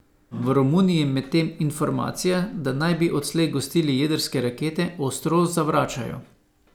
V Romuniji medtem informacije, da naj bi odslej gostili jedrske rakete, ostro zavračajo.